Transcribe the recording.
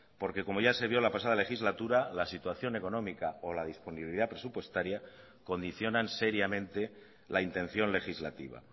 porque como ya se vio la pasada legislatura la situación económica o la disponibilidad presupuestaria condicionan seriamente la intención legislativa